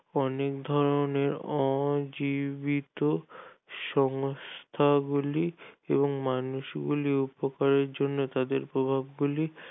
অনির্ধারণের অজীবিত সংস্থা গুলি এবং মানুষগুলির উপকারের জন্য তাদের প্রভাব গুলি